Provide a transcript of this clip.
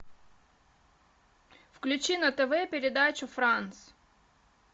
включи на тв передачу франц